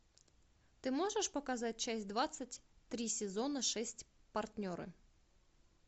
ты можешь показать часть двадцать три сезона шесть партнеры